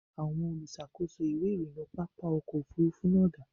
Àwọn olùṣàkóso ìwé ìrìnnà pápá ọkọ̀ Òfurufú náà da?